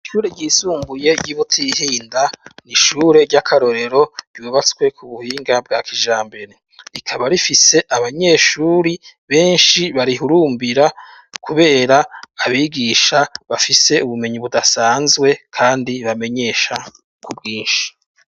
Ishure ryisumbuye ryi Butihinda n’ishure ry'akarorero ryubatswe ku buhinga bwa kijambere, rikaba rifise abanyeshuri benshi barihurumbira kubera abigisha bafise ubumenyi budasanzwe kandi bamenyesha ku bwinshi.